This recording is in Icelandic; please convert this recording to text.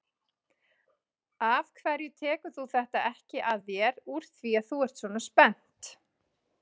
Af hverju tekur þú þetta ekki að þér úr því að þú ert svona spennt?